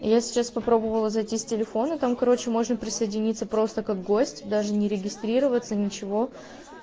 я сейчас попробовала зайти с телефона там короче можно присоединиться просто как гость даже не регистрироваться ничего